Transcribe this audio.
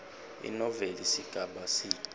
inoveli sigaba c